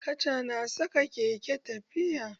Kaca na sa keke tafiya.